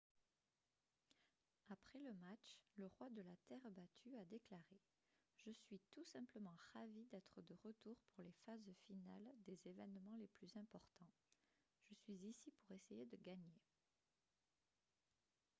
après le match le roi de la terre battue a déclaré :« je suis tout simplement ravi d'être de retour pour les phases finales des événements les plus importants. je suis ici pour essayer de gagner »